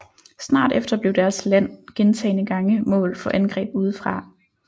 Snart efter blev deres land gentagne gange mål for angreb udefra